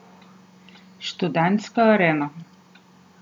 Študentska arena.